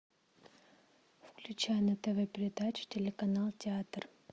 включай на тв передачу телеканал театр